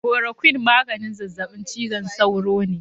Korokwin maganin zazzabin cizon sauro ne.